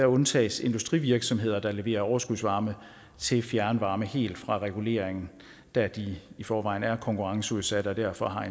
undtages industrivirksomheder der levere overskudsvarme til fjernvarme helt fra regulering da de i forvejen er konkurrenceudsatte og derfor har